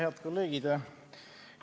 Head kolleegid!